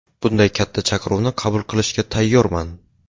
Bunday katta chaqiruvni qabul qilishga tayyorman.